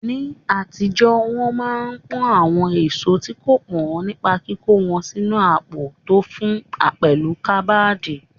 Ní àtijọ́, wọn máa ń pọ́n àwọn èso tí kò pọ́n nípa kíkó wọn sínu àpò tó fún, pẹ̀lú káàmdì.